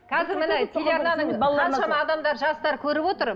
қазір міне телеарнаны қаншама адамдар жастар көріп отыр